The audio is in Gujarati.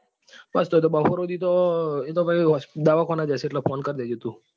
બસ તો બપોર સુધી તો દવાખાને જ હશે એટલે phone કર દેજે તું.